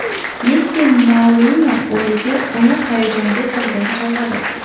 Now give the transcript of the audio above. Messi Mourinyoning o‘g‘liga uni hayajonga solgan sovg‘a berdi.